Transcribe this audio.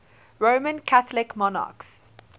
roman catholic monarchs